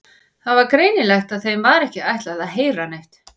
Það var greinilegt að þeim var ekki ætlað að heyra neitt.